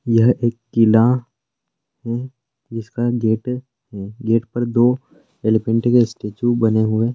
यह एक किला है जिसका गेट है गेट पर दो एलिफेन्ट का स्टैचू बने हुए --